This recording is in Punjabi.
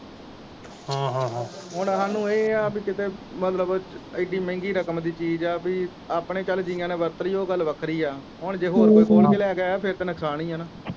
ਹਾਂ ਹਾਂ ਹਾਂ ਹੁਣ ਹਾਨੂੰ ਇਹ ਆ ਪੀ ਕਿਤੇ ਮਤਲਬ ਇਹ ਡੀ ਮਹਿੰਗੀ ਰਕਮ ਦੀ ਚੀਜ਼ ਆ ਪੀ ਆਪਣੇ ਚਲ ਜੀਆ ਨੇ ਵਰਤ ਲੀ ਉਹ ਗੱਲ ਵੱਖਰੀ ਆ ਹੁਣ ਜੇ ਹੋਰ ਕੋਈ ਖੋਲ ਕੇ ਲੈ ਗਿਆ ਹੋਇਆ ਫਿਰ ਤੇ ਨੁਕਸਾਨ ਈਆ ਨਾ।